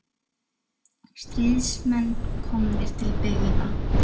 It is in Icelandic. Frægasta tegund efahyggju snýr að öllu því sem á sér stað fyrir utan huga okkar.